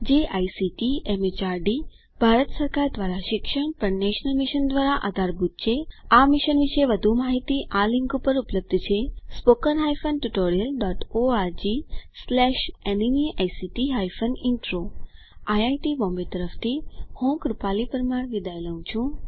જે ICT MHRD Bharat સરકાર દ્વારા શિક્ષણ પર નેશનલ મિશન દ્વારા આધારભૂત છે આ મિશન વિશે વધુ માહીતી આ લીંક ઉપર ઉપલબ્ધ છે160 spoken hyphen tutorial dot org slash NMEICT hyphen intro IIT Bombay તરફથી ભાષાંતર કરનાર હું કૃપાલી પરમાર વિદાય લઉં છું